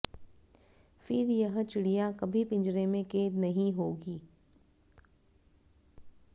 फिर यह चिडिय़ा कभी पिंजरे में कैद नहीं होगी